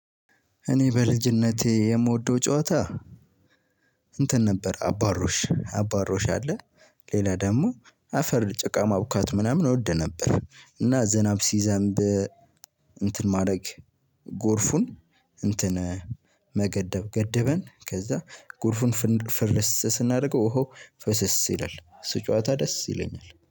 እኔ በልጅነቴ የምወደው ጨዋታ እንትን ነበር አባሮሽ አባሮሽ አለ። ሌላ ደግሞ አፈር ጭቃ ማብካት ምናምን እወድ ነበር። እና ዝናብ ሲዘንብ እንትን ማድረግ ጎርፉን እንትን መገደብ ገደበን ከዛ ጎርፉን ፍርስ ስናደርገው ኦሆ ፍስስ ይላል እሱ ጨዋታ ደስ ይለኛል